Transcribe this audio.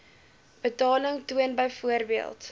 betaling toon byvoorbeeld